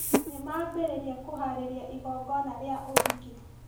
Nĩmambĩrĩria kũharĩrĩa igongona rĩa ũhiki